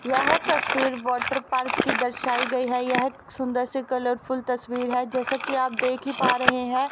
यह तस्वीर water park की दर्शायी गई है यह एक सुंदर से कलर फुल तस्वीर है जैसा कि आप देख ही पा रहे है।